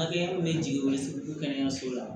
Hakɛ min bɛ jigin o ye kɛnɛyaso la